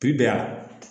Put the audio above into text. Bibi yan